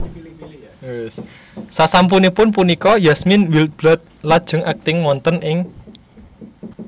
Sasampunipun punika Yasmine Wildblood lajeng akting wonten ing